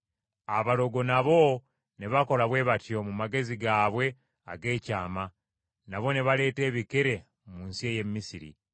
Abalogo nabo ne bakola bwe batyo mu magezi gaabwe ag’ekyama, nabo ne baleeta ebikere mu nsi ey’e Misiri.